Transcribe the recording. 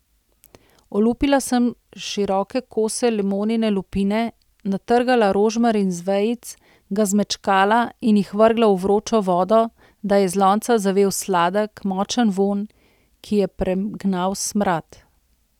Olupila sem široke kose limonine lupine, natrgala rožmarin z vejic, ga zmečkala in jih vrgla v vročo vodo, da je iz lonca zavel sladek, močen vonj, ki je pregnal smrad.